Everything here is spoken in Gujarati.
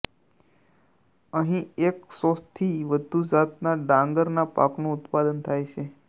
અહીં એકસોથી વધુ જાતના ડાંગરના પાકનું ઉત્પાદન થાય છે